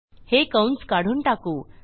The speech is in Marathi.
हे कंस काढून टाकू